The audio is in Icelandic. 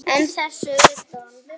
En þess utan?